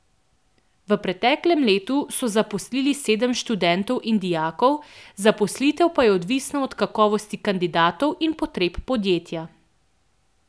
V preteklem letu so zaposlili sedem študentov in dijakov, zaposlitev pa je odvisna od kakovosti kandidatov in potreb podjetja.